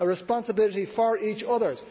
a responsibility for each other.